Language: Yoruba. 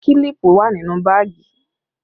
Kílípù wà nínú báàgì